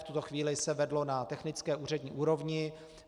V tuto chvíli se vedlo na technické úřední úrovni.